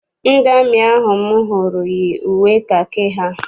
Ndị amị ahụ m hụrụ yi uwe kakị ha.